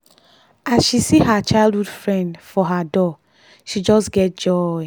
as she see her childhood friend for her door she just get joy.